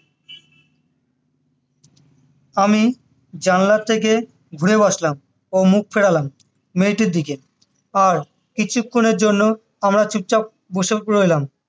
আমি জানলার থেকে ঘুরে বসলাম ও মুখ ফেরালাম মেয়েটির দিকে আর কিছুক্ষনের জন্য আমরা চুপচাপ বসে রইলাম